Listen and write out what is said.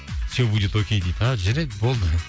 все будет окей дейді а жарайды болды